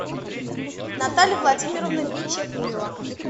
наталья владимировна бичекуева